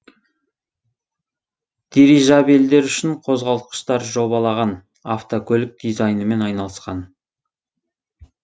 дирижабельдер үшін қозғалтқыштар жобалаған автокөлік дизайнымен айналысқан